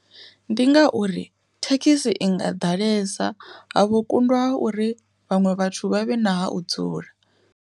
Ndi ngauri thekhisi i nga ḓalesa ha vhukundwa ha uri vhaṅwe vhathu vhavhe na ha u dzula.